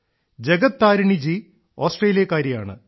Jagat Tarini ji ഓസ്ട്രേലിയക്കാരിയാണ്